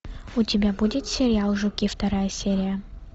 у тебя будет сериал жуки вторая серия